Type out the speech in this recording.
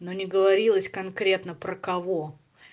но не говорилось конкретно про кого